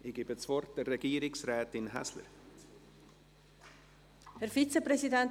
Nun gebe ich Regierungsrätin Häsler das Wort.